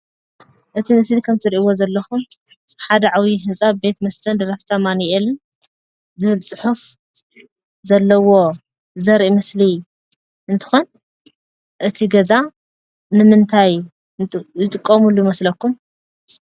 እቲ ምስሊ ከም ትእሪእይዎ ዘለኩም ሓደ ዓብይ ህንፃ ቤት መስተ ድራፍት አማኑኤል ዝብል ፅሑፍ ዘለዎ ዘርኢ ምስሊ እንትኾን እቲ ገዛ ንምንታይ ዝጥቀምሉ ይመስለኩም?